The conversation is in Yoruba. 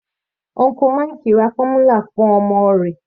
Uncle Mike ra fọ́múlà fún ọmọ.